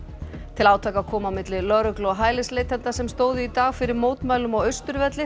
til átaka kom á milli lögreglu og hælisleitenda sem stóðu í dag fyrir mótmælum á Austurvelli